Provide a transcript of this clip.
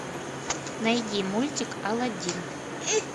найди мультик аладдин